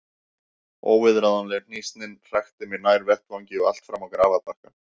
Óviðráðanleg hnýsnin hrakti mig nær vettvangi og allt fram á grafarbakkann.